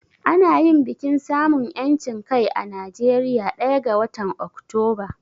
Ana yin bikin samun 'yancin kai a Najeriya ɗaya ga watan Oktoba.